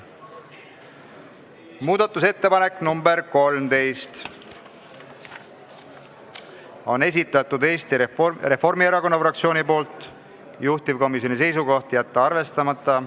Muudatusettepanek nr 13 Eesti Reformierakonna fraktsioonilt, juhtivkomisjoni seisukoht: jätta arvestamata.